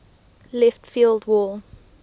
left field wall